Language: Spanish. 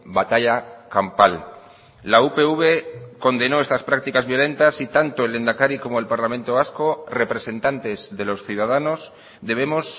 batalla campal la upv condenó estas prácticas violentas y tanto el lehendakari como el parlamento vasco representantes de los ciudadanos debemos